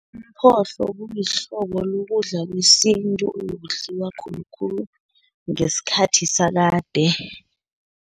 Umphohlo kulihlobo lokudla kwesintu, obekudliwa khulukhulu ngesikhathi sakade.